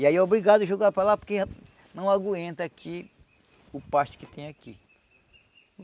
E aí é obrigado jogar para lá porque não aguenta aqui o pasto que tem aqui.